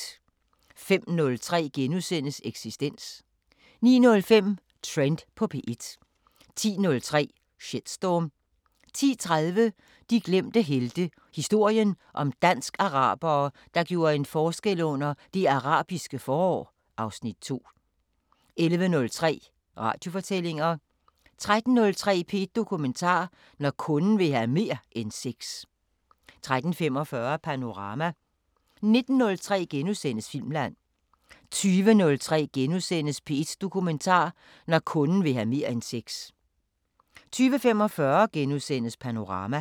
05:03: Eksistens * 09:05: Trend på P1 10:03: Shitstorm 10:30: De glemte helte – historien om dansk-arabere, der gjorde en forskel under Det Arabiske forår (Afs. 2) 11:03: Radiofortællinger 13:03: P1 Dokumentar: Når kunden vil have mere end sex 13:45: Panorama 19:03: Filmland * 20:03: P1 Dokumentar: Når kunden vil have mere end sex * 20:45: Panorama *